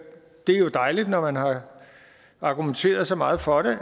er jo dejligt når man har argumenteret så meget for